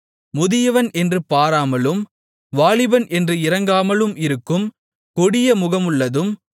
முதியவன் என்று பாராமலும் வாலிபன் என்று இரங்காமலும் இருக்கும் கொடிய முகமுள்ளதும்